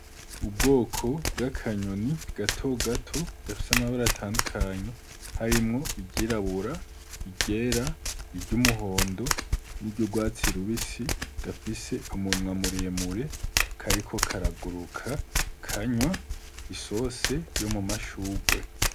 Ubwoko bw'akanyoni gatogato k'amabara atandukanye harimwo iryirabura, iryera, iry'umuhondo n'iry'urwatsi rubisi gafise umunwa muremure kariko karaguruka, kanywa isose yo mu mashurwe.